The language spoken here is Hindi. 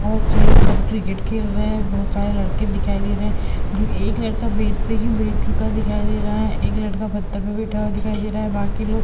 बहोत से लोग कब क्रिकेट खेल रहे हैं। बहोत सारे लड़के दिखाई दे रहे हैं जो एक लड़का बैट पे भी बैठ चुका दिखाई दे रहा है। एक लड़का पत्थर पे बैठा हुआ दिखाई दे रहा है। बाकि लोग --